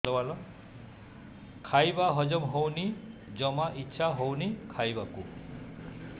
ଖାଇବା ହଜମ ହଉନି ଜମା ଇଛା ହଉନି ଖାଇବାକୁ